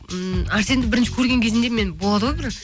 ммм әрсенді бірінші көрген кезімде мен болады ғой бір